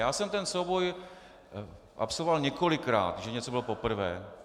Já jsem ten souboj absolvoval několikrát, že něco bylo poprvé.